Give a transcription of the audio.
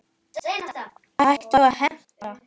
Hættum að heimta!